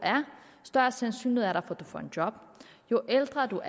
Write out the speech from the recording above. større sandsynlighed er der for at får et job jo ældre